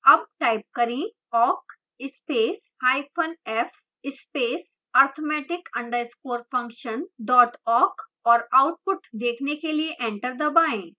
awk type करें awk spacef space arithmetic _ function awk और output देखने के लिए एंटर दबाएं